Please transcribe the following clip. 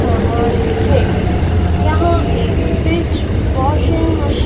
समान है यहां एक फ्रिज वाशिंग मश--